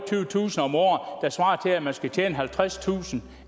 der at man skal tjene halvtredstusind